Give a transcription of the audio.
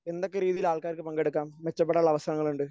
എന്തൊക്കെ രീതിയിൽ ആൾക്കാർക്ക് പങ്കെടുക്കാം? മെച്ചപ്പെടാനുള്ള അവസരങ്ങളുണ്ട്?